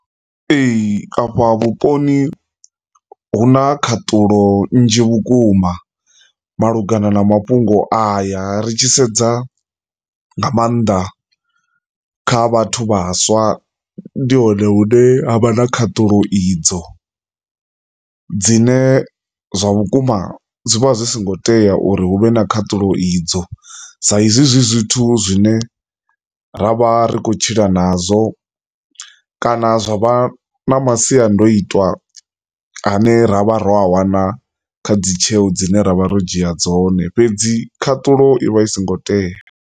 Ee, afha vhuponi hu na khaṱulo nnzhi vhukuma malugana na mafhungo aya ri tshi sedza nga maanḓa kha vhathu vhaswa ndi hone hune ha vha na khaṱulo idzo. Dzine zwa vhukuma zwi vha hu songo tea uri hu vhe na khaṱulo idzo saizwi zwithu zwine ra vha ri khou tshila nazwo kana zwa vha masiandaitwa a ne ra vha ro a wana kha dzi tsheo dzine ra vha ro dzi dzhia dzone fhedzi khaṱulo i vha i songo tea.